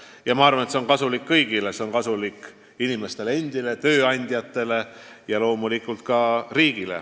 Ja ma arvan, et see on kasulik kõigile: see on kasulik inimestele endile, tööandjatele ja loomulikult ka riigile.